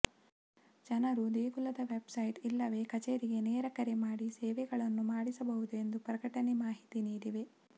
ಜನರು ದೇಗುಲದ website ಇಲ್ಲವೇ ಕಚೇರಿಗೆ ನೇರ ಕರೆ ಮಾಡಿ ಸೇವೆಗಳನ್ನು ಮಾಡಿಸಬಹುದು ಎಂದು ಪ್ರಕಟಣೆ ಮಾಹಿತಿ ನೀಡಿದೆ